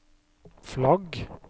flagg